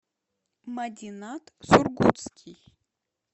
мадинат сургутский